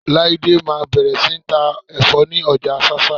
Láídé máa bẹ̀rẹ̀ sí ní ta ẹ̀fọ́ ni ọjà Ṣáṣá.